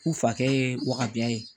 U fakɛ ye wabiya ye